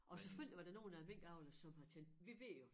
Og selvfølgelig var der nogle af æ minkavlere som har tænkt vi ved jo